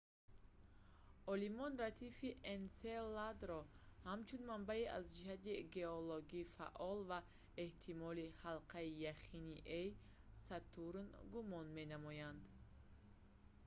олимон радифи энселадро ҳамчун манбаи аз ҷиҳати геологӣ фаъол ва эҳтимолии ҳалқаи яхини е-и сатурн гумон менамоянд